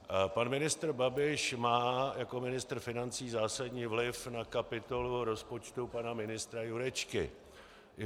Pan ministr Babiš má jako ministr financí zásadní vliv na kapitolu rozpočtu pana ministra Jurečky.